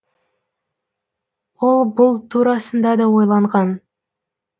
ол бұл турасында да ойланған